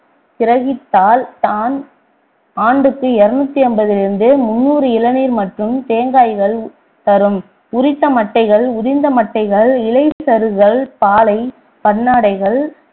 கிரகித்தால் தான் ஆண்டுக்கு இருநூறு ஐம்பதில் இருந்து முந்நூறு இளநீர் மற்றும் தேங்காய்கள் தரும் உரித்த மட்டைகள் உதிர்ந்த மட்டைகள் இலை சருகுகள் பாளை பன்னாடைகள்